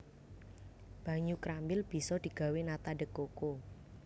Banyu krambil bisa digawé nata de coco